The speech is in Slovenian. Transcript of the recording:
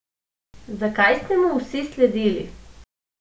Zakaj ste mu vsi sledili?